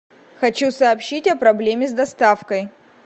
хочу сообщить о проблеме с доставкой